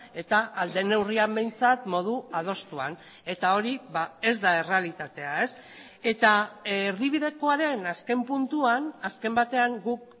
eta ahal den neurrian behintzat modu adostuan eta hori ez da errealitatea eta erdibidekoaren azken puntuan azken batean guk